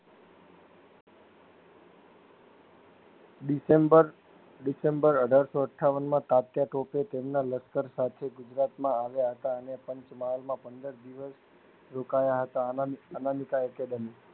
December December અઢારસો અઠાવનમાં કાત્યા ટોપે તેમના લસ્કર સાથે ગુજરાતમાં આવ્યા હતા અને પાંચ મહાલમાં પંદર દિવસ રોકાયા હતા અનામિક અનામિકા એકેડેમી